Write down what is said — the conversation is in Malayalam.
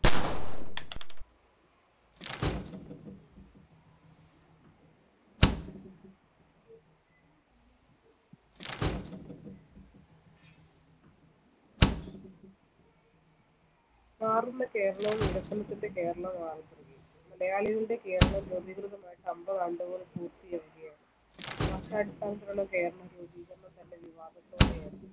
മാറുന്ന കേരളവും വികസനത്തിന്റെ കേരളവുമായ മലയാളികളുടെ കേരളം രൂപീകൃതമായിട്ട് അൻപത് ആണ്ടുകൾ പൂർത്തീകരിക്കുകയാണ്, ഭാഷാടിസ്ഥാനത്തിലുള്ള കേരള രൂപീകരണത്തെ സംബന്ധിച്ച് വിവാദത്തോടെയാണ്.